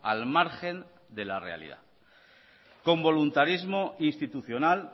al margen de la realidad con voluntarismo institucional